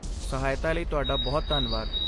ਸਹਾਇਤਾ ਲਈ ਤੁਹਾਡਾ ਬਹੁਤ ਧੰਨਵਾਦ।